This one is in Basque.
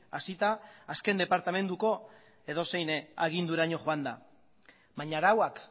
hasita azken departamenduko edozein agindurako joanda baina arauak